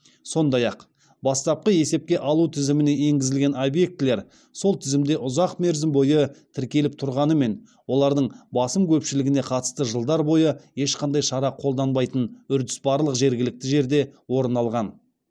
сондай ақ бастапқы есепке алу тізіміне енгізілген объектілер сол тізімде ұзақ мерзім бойы тіркеліп тұрғанымен олардың басым көпшілігіне қатысты жылдар бойы ешқандай шара қолданбайтын үрдіс барлық жергілікті жерде орын алған